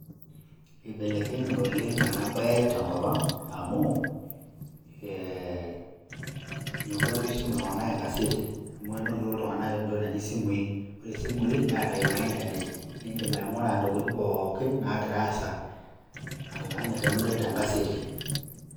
Eibelekenye oleng' ena baye tenkop ang' amu ee meekure apa eisum iltung'anak enkaseti amu enotito iltung'anak entokitin' naaji isimui Neeta Ina internet niidim aing'ura Intokitin pookin naagira aasa alang' tenidol tenkaseti.